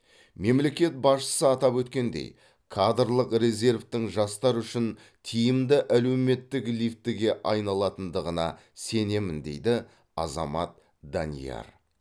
мемлекет басшысы атап өткендей кадрлық резервтің жастар үшін тиімді әлеуметтік лифтіге айналатындығына сенемін дейді азамат данияр